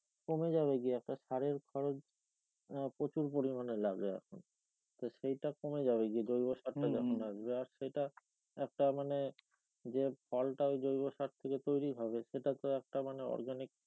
কমে যাবে গিয়া সারের খরচআহ প্রচুর পরিমানে লাগে আর কি তো সেটা কমে যাবে যে জৈব যখন আসবে আর সেই টা একটা মানে যে ফল টা জৈব সারটা থেকে তৈরি হবে সেটা তো একটা মানে organic